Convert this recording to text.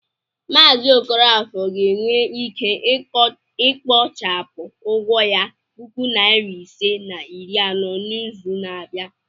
Mazi okafor ga-enwe ike ikpochapụ ụgwọ ya puku nari ise na iri anọ n'izu na-abịa.